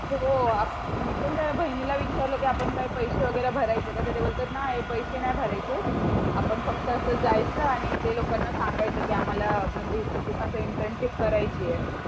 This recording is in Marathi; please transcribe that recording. हो मी पण त्या बहिणीला विचारला आपण काय पैशे वगैरे भरायचे का तर ते बोलतात नाय पैशे नाय भरायचेत. आपण फक्त अस जायच आणि ते लोकांना सांगायचं की आम्हाला इंटर्नशिप करायची आहे